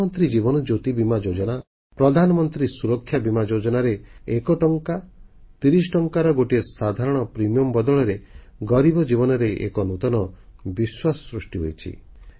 ପ୍ରଧାନମନ୍ତ୍ରୀ ଜୀବନଜ୍ୟୋତି ବୀମା ଯୋଜନା ପ୍ରଧାନମନ୍ତ୍ରୀ ସୁରକ୍ଷା ବୀମା ଯୋଜନାରେ 1 ଟଙ୍କା କିମ୍ବା 30 ଟଙ୍କା ଲେଖାଏଁ ସାଧାରଣ ପ୍ରିମିୟମ ବଦଳରେ ଗରିବ ଜୀବନରେ ଏକ ନୂତନ ବିଶ୍ୱାସ ସୃଷ୍ଟି ହୋଇଛି